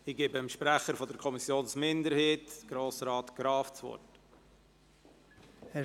Ich gebe dem Sprecher der Kommissionsminderheit, Grossrat Graf, das Wort.